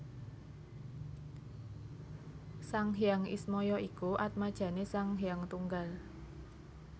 Sang Hyang Ismaya iku atmajane Sang Hyang Tunggal